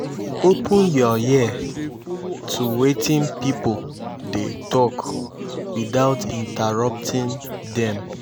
open yur ear to wetin pipo dey tok witout interrupting dem